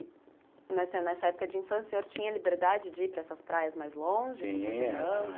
E, nessa nessa época de infância, o senhor tinha liberdade de ir para essas praias mais longe com suas irmãs?